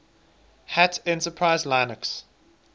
hat enterprise linux